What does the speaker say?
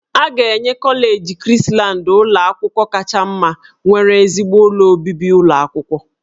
A ga-enye kọleji Krisland ụlọ akwụkwọ kacha mma nwere ezigbo ụlọ obibi ụlọ akwụkwọ